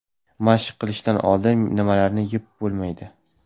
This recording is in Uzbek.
Mashq qilishdan oldin nimalarni yeb bo‘lmaydi?.